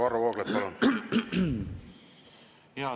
Varro Vooglaid, palun!